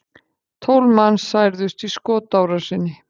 Tólf manns særðust í skotárásinni